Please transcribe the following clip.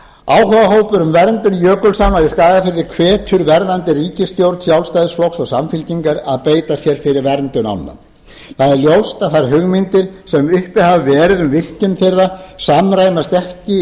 áhugahópur um verndun jökulsánna í skagafirði hvetur verðandi ríkisstjórn sjálfstæðisflokks og samfylkingar til að beita sér fyrir verndun ánna það er ljóst að þær hugmyndir sem uppi hafa verið um virkjun þeirra samræmast ekki